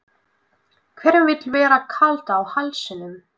Hverjum vill vera kalt á hálsinum?